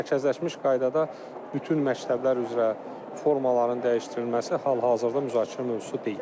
Amma mərkəzləşmiş qaydada bütün məktəblər üzrə formaların dəyişdirilməsi hal-hazırda müzakirə mövzusu deyil.